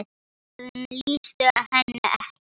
Orðin lýstu henni ekki.